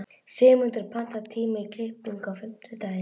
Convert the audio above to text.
Sigurmunda, pantaðu tíma í klippingu á fimmtudaginn.